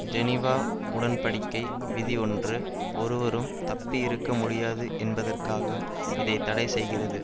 Geneva உடன் படிக்கை விதி ஒன்று ஒருவரும் தப்பயிருக்க முடியாது என்பதற்காக இதை தடை செய்கிறது